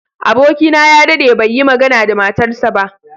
Abokina ya daɗe bai yi magana da matarsa ​​ba.